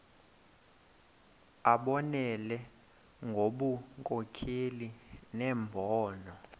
abonelele ngobunkokheli nembono